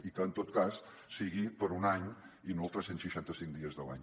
i que en tot cas sigui per un any i no els tres cents i seixanta cinc dies de l’any